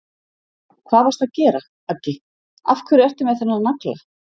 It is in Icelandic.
Hvað varstu að gera, Aggi. af hverju ertu með þennan nagla?